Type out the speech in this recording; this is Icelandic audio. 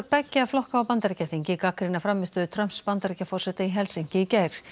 beggja flokka á Bandaríkjaþingi gagnrýna frammistöðu Trumps Bandaríkjaforseta í Helsinki í gær